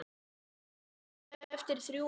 Staðan eftir þrjú ár?